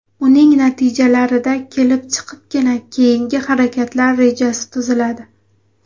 Uning natijalarida kelib chiqibgina keyingi harakatlar rejasi tuziladi.